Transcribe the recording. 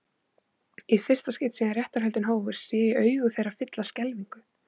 Í fyrsta skipti síðan réttarhöldin hófust sé ég augu þeirra fyllast skelfingu.